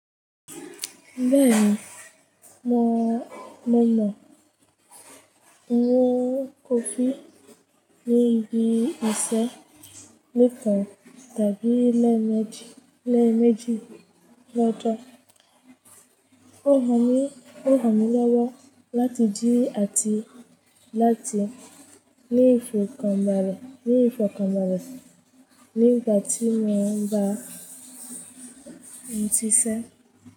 Bẹ́ẹ̀ni, mò mọ ìwọ̀n kòfí lé igi ìṣẹ́ mẹ́fà tàbí lé mẹ́jì lọ́jọ̀. Ó ràn mí lọ́wọ́ láti jí àti láti ní ìfọ̀kànbalẹ̀ ni ifokanbale. Nigbà tí mò ń bá ń ṣiṣẹ́.